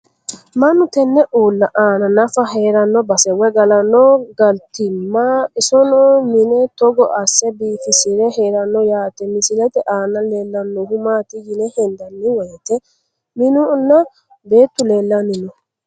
Mannu tenne uulla aanna naffa heeranno basse woy galanno galittomma isonno mine togo asse biiffisire heeranno yaatte. Misilette aanna leellanohu maatti yine hendanni woyiitte minnu nna beettu leelanni noo